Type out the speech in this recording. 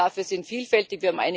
Die Gründe dafür sind vielfältig.